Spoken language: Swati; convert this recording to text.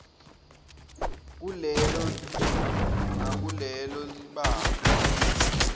kulelo nakulelo libanga